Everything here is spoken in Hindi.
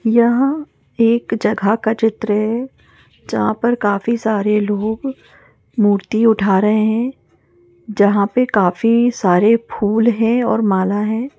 यहाँ एक जगह का चित्र जहाँं पर काफी सारे लोग मूर्ति उठा रहे है जहाँं पे काफी सारे फूल है और माला है।